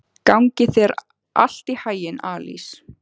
Gangi þér allt í haginn, Alís.